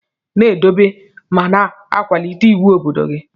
Na edobe ma na akwalite iwu obodo gi.